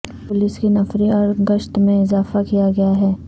police کی نفری اور گشت میں اضافہ کیا گیا ہے